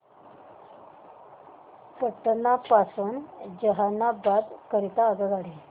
पटना पासून जहानाबाद करीता आगगाडी